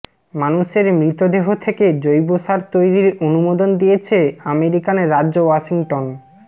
মানুষের মৃতদেহ থেকে জৈব সার তৈরির অনুমোদন দিয়েছে আমেরিকান রাজ্য ওয়াশিংটন